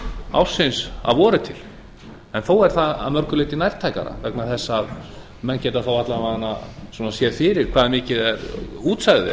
ársins að vori til en þó er það að mörgu leyti nærtækara vegna þess að menn geta þá alla vega séð fyrir hvað mikið útsæðið